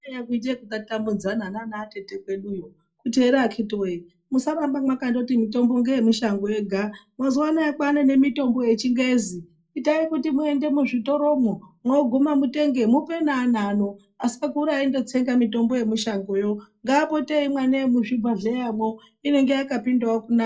Eya kwaiye kuite yekutatamudzana nanatete kweduyo kuti ere akiti woye musaramba mwakandoti mitombo ngeyemushango yega mazuwa anaye kwaane nemitombo yechingezi itai kuti muende muzvitoro mwo mwoguma mutenge mupe neana ano asakura eindotsenga mitombo yemushangomwo ngaapote eimwa neyemuzvibhehleya mwo inenge yakapindawo kunaka.